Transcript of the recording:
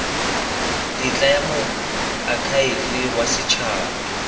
tetla ya moakhaefe wa setshaba